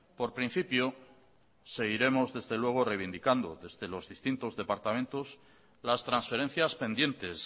por principio seguiremos desde luego reivindicando desde los distintos departamentos las transferencias pendientes